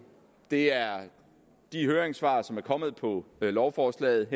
det er de høringssvar som er kommet på lovforslaget